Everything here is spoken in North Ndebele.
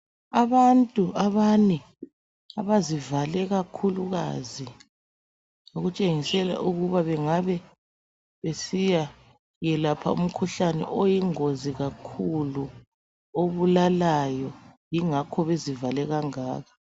Abantu abane abazivale kakhulukazi, okutshengisela ukuba bangabe besiyayelapha umkhuhlane okuyingozi obulalayo yingakho bezivale kangaka.